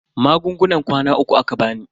Magungunan kwana uku aka bani.